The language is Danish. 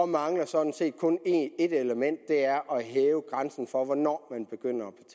mangler sådan set kun et element og det er at hæve grænsen for hvornår man begynder